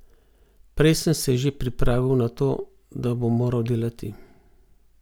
Prej sem se že pripravil na to, da bom moral delati.